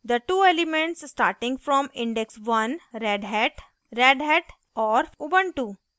the two elements starting from index one redhat: redhat और ubuntu